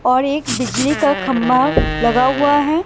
और एक बिजली का खंभा लगा हुआ हैं।